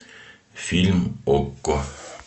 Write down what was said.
фильм окко